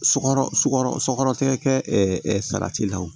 Sɔkɔ sukɔrɔ sɔkɔtigɛ kɛ salati la wo